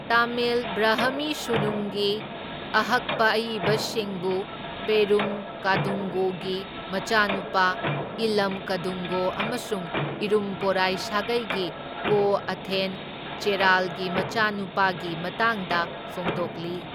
ꯇꯥꯃꯤꯜ ꯕ꯭ꯔꯍꯃꯤ ꯁꯨꯅꯨꯡꯒꯤ ꯑꯍꯛꯄ ꯑꯏꯕꯁꯤꯡꯕꯨ, ꯄꯦꯔꯨꯝ ꯀꯥꯗꯨꯡꯒꯣꯒꯤ ꯃꯆꯥꯅꯨꯄꯥ ꯏꯂꯝ ꯀꯗꯨꯡꯒꯣ ꯑꯃꯁꯨꯡ ꯏꯔꯨꯝꯄꯣꯔꯥꯏ ꯁꯥꯒꯩꯒꯤ ꯀꯣ ꯑꯊꯦꯟ ꯆꯦꯔꯥꯜꯒꯤ ꯃꯆꯨꯅꯨꯄꯥꯒꯤ ꯃꯇꯥꯡꯗ ꯐꯣꯡꯗꯣꯛꯂꯤ꯫